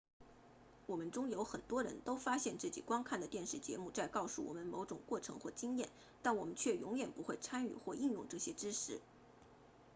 我们中有很多人都发现自己观看的电视节目在告诉我们某种过程或经验但我们却永远不会参与或应用这些知识